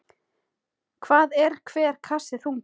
Hvað er hver kassi þungur?